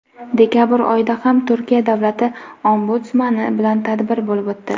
dekabr oyida ham Turkiya davlati Ombudsmani bilan tadbir bo‘lib o‘tdi.